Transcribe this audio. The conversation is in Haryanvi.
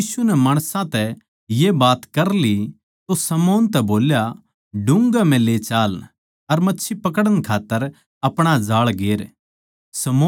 जिब यीशु नै माणसां तै ये बात कर ली तो शमौन तै बोल्या डुंघ्घे म्ह ले चाल अर मच्छी पकड़न खात्तर अपणा जाळ गेर